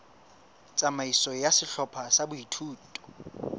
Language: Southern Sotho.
tsamaiso ya sehlopha sa boithuto